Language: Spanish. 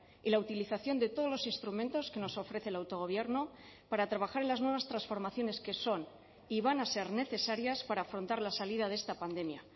y la utilización de todos los instrumentos que nos ofrece el autogobierno para trabajar en las nuevas transformaciones que son y van a ser necesarias para afrontar la salida de esta pandemia